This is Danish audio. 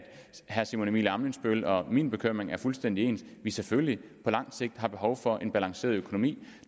herre simon emil ammitzbølls og min bekymring er fuldstændig ens nemlig at vi selvfølgelig på lang sigt har behov for en balanceret økonomi